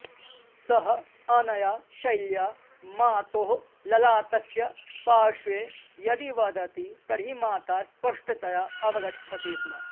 सः अनया शैल्या मातोः ललाटस्य पाश्वे यदि वदति तर्हि माता स्पष्टतया अवगच्छति स्म